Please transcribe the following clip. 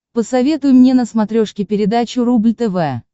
посоветуй мне на смотрешке передачу рубль тв